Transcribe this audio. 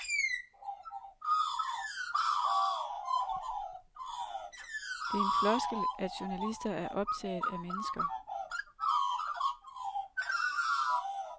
Det er en floskel at journalister er optaget af mennesker.